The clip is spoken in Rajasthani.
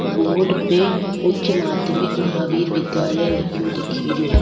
बोर्ड पे उच्च माध्यमिक महावीर विद्यालय लिखयो दिखरो।